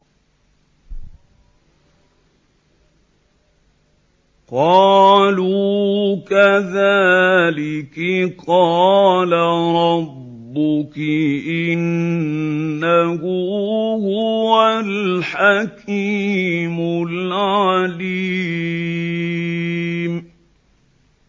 قَالُوا كَذَٰلِكِ قَالَ رَبُّكِ ۖ إِنَّهُ هُوَ الْحَكِيمُ الْعَلِيمُ